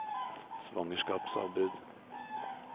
svangerskapsavbrudd